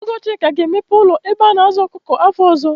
Ọgọ Chika ga-emepe ụlọ ebe a na-azụ ọkụkọ afọ ọzọ.